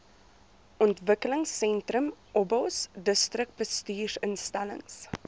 ontwikelingsentrum obos distriksbestuursinstellings